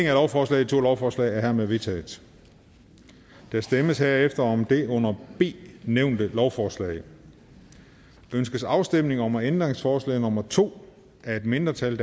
af lovforslaget i to lovforslag er hermed vedtaget der stemmes herefter om det under b nævnte lovforslag ønskes afstemning om ændringsforslag nummer to af et mindretal